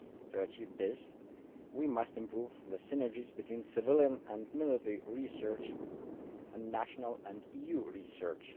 To achieve this, we must improve the synergies between civilian and military research and national and EU research.